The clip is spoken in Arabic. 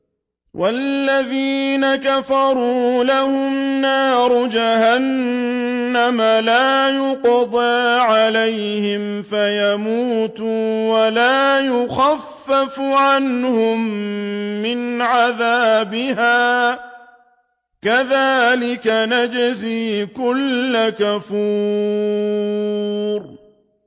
وَالَّذِينَ كَفَرُوا لَهُمْ نَارُ جَهَنَّمَ لَا يُقْضَىٰ عَلَيْهِمْ فَيَمُوتُوا وَلَا يُخَفَّفُ عَنْهُم مِّنْ عَذَابِهَا ۚ كَذَٰلِكَ نَجْزِي كُلَّ كَفُورٍ